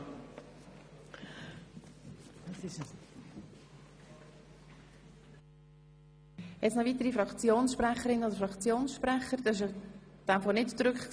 Wünschen noch weitere Fraktionssprecherinnen oder Fraktionssprecher das Wort?